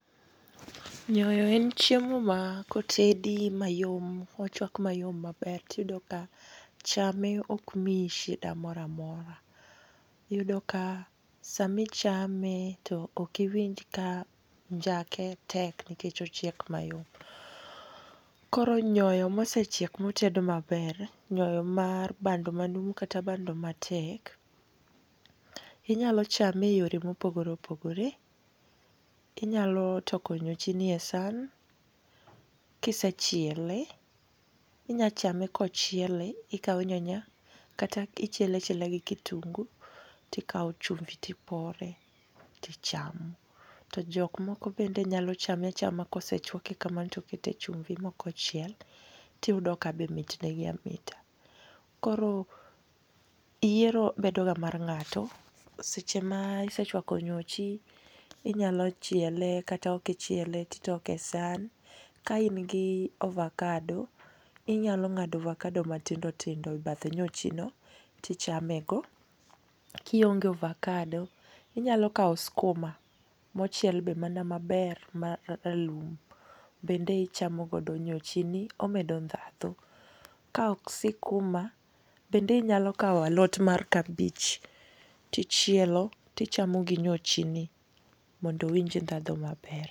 Nyoyo en chiemo ma kotedi mayom, mochwak mayom maber, tiyudo ka chame ok mii shida moro amora. Iyudo ka samichame to okiwinj ka njake tek, nikech ochiek mayom. Koro nyoyo ma osechiek, ma oted maber, nyoyo mar bando manumu, kata bando matek, inyalo chame e yore mopogore opogore. Inyalo toko nyochi ni e san, kisechiele. Inyalo chame kochiele. Ikawo nyanya, kata ichiele achiela gi kitungu. To ikawo chumbi to ipore. Tichamo. To jok moko bende nyalo chame achama kosechwake kamano to okete chumbi, ma ok ochiel. Tiyudo ka be mit negi amita. Koro yiero bedo ga mar ng'ato. Seche ma isechwako nyochi, inyalo chiele kata ok ichiele. Titoke e san. Ka in gi ovacado, inyalo ng'ado ovacado matindo tindo e bath nyochino. Tichame go. Kionge ovacado, inyalo kawo skuma mochiel be mana maber, ma ralum. Bende ichamo godo nyochini. Omedo ndhadhu. Ka ok sikuma, bende inyalo kawo alot mar kabich to ichielo to ichamo gi nyochini mondo iwinj ndhadhu maber.